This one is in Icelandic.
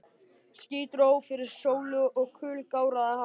Ský dró fyrir sólu og kul gáraði hafið.